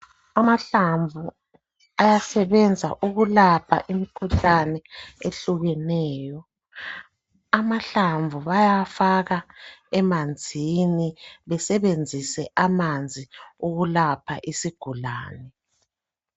Amahlamvu ayasebenza ukulapha imikhuhlane ehlukeneyo. Amahlamvu bayafaka emanzini besebenzise amanzi ukulapha isigulani